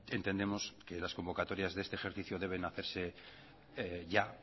entendemos que las convocatorias de este ejercicio deben hacerse ya